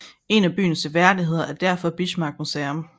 En af byens seværdigheder er derfor Bismarck Museum